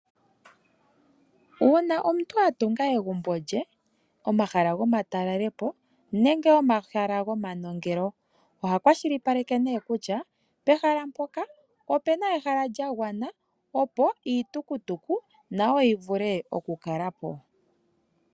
Uuna atunga egumbo lye, omahala gomatalelepo nenge omahala gomanongelo . Oha kwashilipaleke kutya pehala mpoka opuna ehala opo iitukutuku nayo yowape okukalapo.